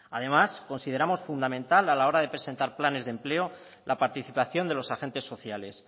además consideramos fundamental a la hora de presentar planes de empleo la participación de los agentes sociales